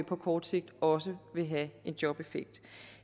på kort sigt også vil have en jobeffekt